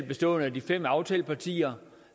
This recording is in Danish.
består af de fem aftalepartier